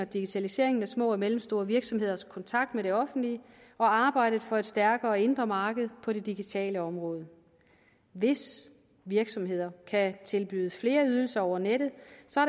digitaliseringen af små og mellemstore virksomheders kontakt med det offentlige og arbejdet for et stærkere indre marked på det digitale område hvis virksomheder kan tilbyde flere ydelser over nettet